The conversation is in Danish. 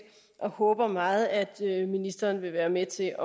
og vi håber meget at ministeren vil være med til